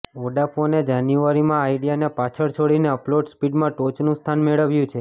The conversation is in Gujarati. વોડાફોને જાન્યુઆરીમાં આઇડિયાને પાછળ છોડીને અપલોડ સ્પીડમાં ટોચનું સ્થાન મેળવ્યું છે